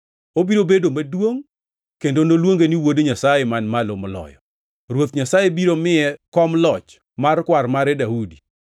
Obiro bedo maduongʼ kendo noluonge ni Wuod Nyasaye Man Malo Moloyo, Ruoth Nyasaye biro miye kom loch mar kwar mare, Daudi.